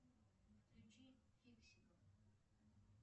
включи фиксиков